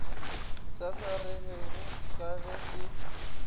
sa swaregego ka ge e